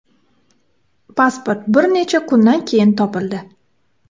Pasport bir necha kundan keyin topildi.